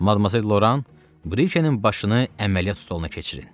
Madmazel Loran, Brikenin başını əməliyyat stoluna keçirin.